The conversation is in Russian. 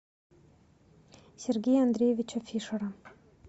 сергея андреевича фишера